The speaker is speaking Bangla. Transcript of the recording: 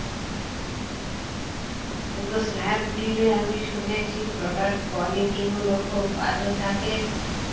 কিন্তু স্ন্যাপডিলে আমি শুনেছি product quality গুলো খুব বাজে থাকে